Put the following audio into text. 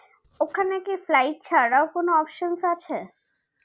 ওখানে কি flight ছাড়া ও কোনো options আছে